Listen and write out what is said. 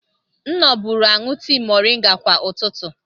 M noburu aṅụ tii moringa kwa ụtụtụ.